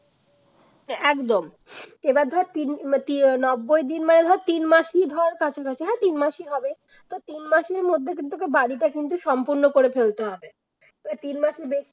একদম এবার ধর তিন তিন ও নব্বই দিন মানে তিন মাসের ধর কাছাকাছি হ্যাঁ তিন মাসেই হবে তো তিন মাসের মধ্যে কিন্তু বাড়িটা কিন্তু সম্পন্ন করে ফেলতে হবে তিন মাসের বেশি